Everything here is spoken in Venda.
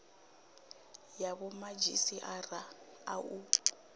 ya vhomadzhisi ara a u